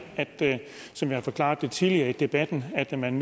som jeg har forklaret det tidligere i debatten at man